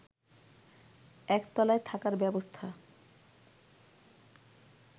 একতলায় থাকার ব্যবস্থা